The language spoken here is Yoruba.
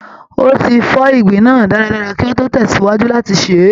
Ó ti fọ ìgbín náà dáadáa kí ó tó tẹ̀sìwájú láti sè é